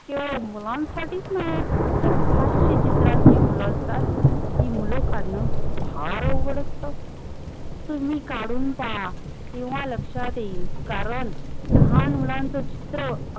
केवल मुलां साटीच नाही तर हास्य चित्रात जी मुलं असतात कि मुल कडन फार अवघड असत तुम्ही काडून पहा तेव्हा लक्षात येयील कारण लहान मुलांच चित्र